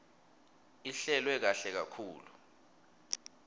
ihlelwe kahle kakhulu